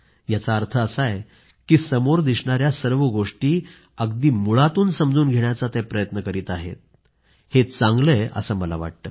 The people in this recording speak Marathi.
याचा अर्थ असा आहे की समोर दिसणाऱ्या सर्व गोष्टीं अगदी मुळातून समजून घेण्याचा ते प्रयत्न करीत आहेत हे चांगलं आहे असं मला वाटतं